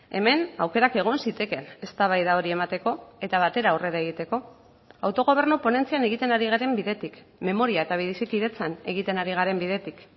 hemen aukerak egon zitekeen eztabaida hori emateko eta batera aurrera egiteko autogobernu ponentzian egiten ari garen bidetik memoria eta bizikidetzan egiten ari garen bidetik